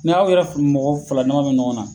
Ni'aw yɛrɛ mɔgɔ fila daman bɛ ɲɔgɔn na